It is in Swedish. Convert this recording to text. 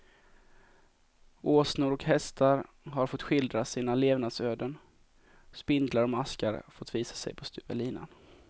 Åsnor och hästar har fått skildra sina levnadsöden, spindlar och maskar fått visa sig på styva linan.